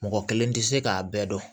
Mɔgɔ kelen tɛ se k'a bɛɛ dɔn